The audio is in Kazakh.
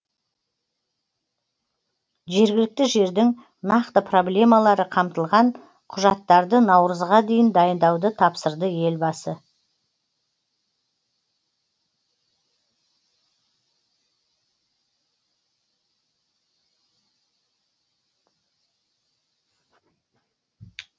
жергілікті жердің нақты проблемалары қамтылған құжаттарды наурызға дейін дайындауды тапсырды елбасы